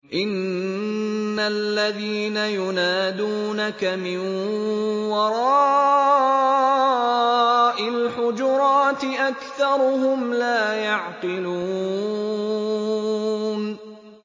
إِنَّ الَّذِينَ يُنَادُونَكَ مِن وَرَاءِ الْحُجُرَاتِ أَكْثَرُهُمْ لَا يَعْقِلُونَ